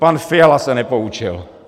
Pan Fiala se nepoučil.